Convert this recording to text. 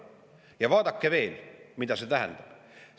Ja vaadake veel, mida see tähendab!